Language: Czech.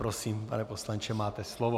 Prosím, pane poslanče, máte slovo.